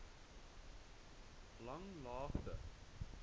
langlaagte